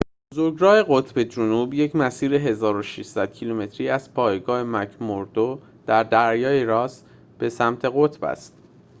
بزرگراه قطب جنوب یک مسیر ۱۶۰۰ کیلومتری از پایگاه مک‌موردو در دریای راس به سمت قطب است